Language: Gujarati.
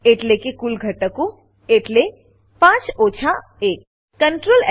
એટલે કે કુલ ઘટકો એટલે 5 ઓછા 1